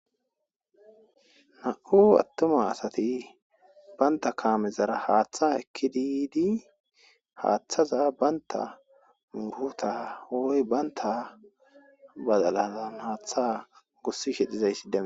nam'u attuma asati banta kaamezara haaththa ekki didi haaththaza banta muguta oy baynta bazalazan haaththa gossi kexizaysside